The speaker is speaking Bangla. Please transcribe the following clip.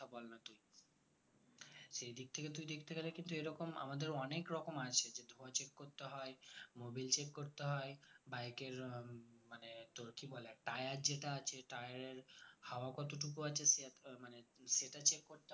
সেই দিক থেকে তুই দেখতে গেলে এরকম আমাদের অনেক রকম আছে যে ধোঁয়া check করতে হয় mobile check করতে হয় bike কে উম মানে তোর কি বলে tire যেটা আছে tire এর হাওয়া কতটুকু আছে . মানে সেটা check করতে হয়